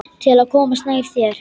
Til að komast nær þér.